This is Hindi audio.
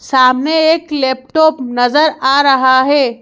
सामने एक लैपटॉप नजर आ रहा है।